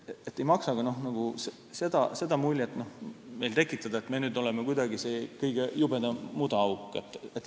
Ei maksa tekitada sellist muljet, et meie oleme nüüd kõige jubedam mudaauk.